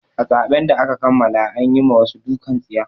A zaben da aka kammala an yi ma wasu dukan tsiya.